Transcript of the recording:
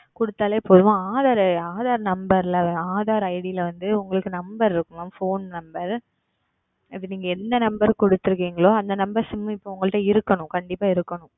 கொடுத்தாலே போதும் AadharAadhar Number ல் Aadhar ID ல வந்து உங்களுக்கு Number இருக்கும் Phone Number இப்பொழுது என்ன Number நீங்கள் கொடுத்துள்ளீர்களோ அந்த NumberSim உங்களிடம் இருக்கனும் கண்டிப்பாக இருக்கனும்